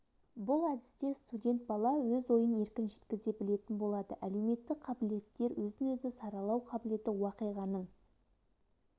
бұл әдісте студент бала өз ойын еркін жеткізе білетін болады әлеуметтік қабілеттер өзін-өзі саралау қабілеті уақиғаның